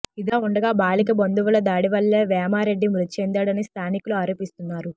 ఇదిలా ఉండగా బాలిక బంధువుల దాడి వల్లే వేమారెడ్డి మృతిచెందాడని స్థానికులు ఆరోపిస్తున్నారు